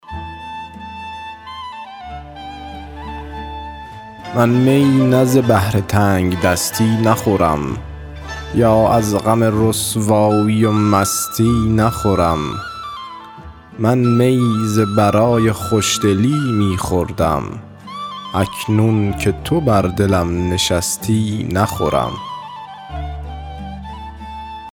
من می نه ز بهر تنگدستی نخورم یا از غم رسوایی و مستی نخورم من می ز برای خوشدلی می خوردم اکنون که تو بر دلم نشستی نخورم